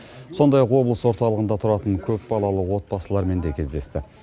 сондай ақ облыс орталығында тұратын көпбалалы отбасылармен де кездесті